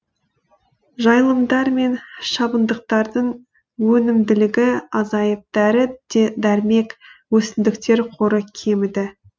жайылымдар мен шабындықтардың өнімділігі азайып дәрі дәрмек өсімдіктер қоры кеміді